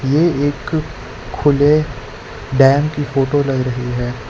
ये एक खुले डैम की फोटो लग रही है।